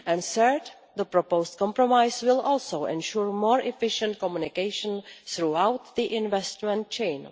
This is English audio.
Third, the proposed compromise will also ensure more efficient communication throughout the investment chain.